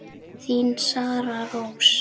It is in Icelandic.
Þín Sara Rós.